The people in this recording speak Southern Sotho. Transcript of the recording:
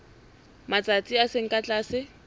matsatsi a seng ka tlase